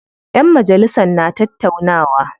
Ƴan majalisan na tattaunawa.